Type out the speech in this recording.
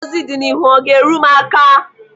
Ngọzi dị n'ihu ọ ga-eru m aka?